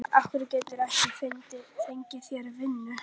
Af hverju geturðu ekki fengið þér vinnu?